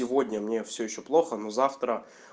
сегодня мне все ещё плохо но завтра